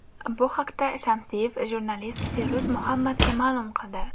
Bu haqda Shamsiyev jurnalist Feruz Muhammadga ma’lum qildi.